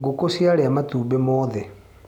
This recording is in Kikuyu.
Ngũkũ ciaria matumbĩ mothe.